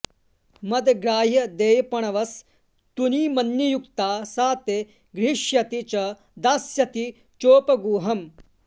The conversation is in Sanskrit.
मद्ग्राह्यदेयपणवस्तुनि मन्नियुक्ता सा ते गृहीष्यति च दास्यति चोपगूहम्